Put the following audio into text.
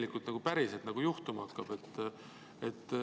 Mis siis päriselt juhtuma hakkab?